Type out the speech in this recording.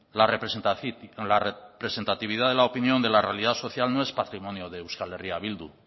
la representatividad de la realidad social no es patrimonio de euskal herria bildu